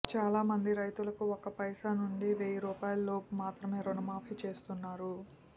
చాలా మంది రైతులకు ఒక్క పైస నుంచి వెయ్యి రూపాయల లోపు మాత్రమే రుణమాఫీ చేస్తున్నారు